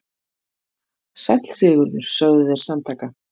Sæll Sigurður, sögðu þeir samtaka.